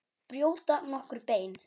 Brjóta nokkur bein?